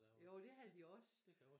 Jo det havde de også